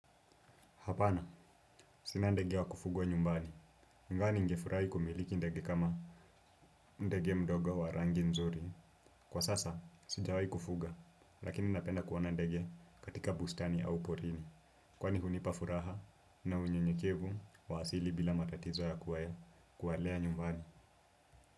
Hapana, sina ndege wa kufugwa nyumbani, nadhani ningefurahi kumiliki ndege kama ndege mdogo wa rangi nzuri. Kwa sasa, sijawahi kufuga, lakini napenda kuwa na ndege katika bustani au porini. Kwani hunipa furaha na unyenyekevu wa asili bila matatizo ya kuwalea nyumbani.